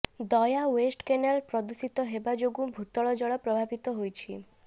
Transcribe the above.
ଦୟା west canal ପ୍ରଦୂଷିତ ହେବା ଯୋଗୁଁ ଭୂତଳ ଜଳ ପ୍ରଭାବିତ ହୋଇଛି